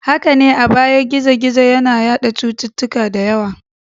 Haka ne, a baya gizo-gizo yana yada cututtuka da yawa.